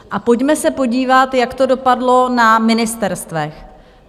A pojďme se podívat, jak to dopadlo na ministerstvech.